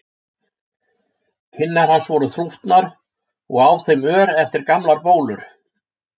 Kinnar hans voru þrútnar og á þeim ör eftir gamlar bólur.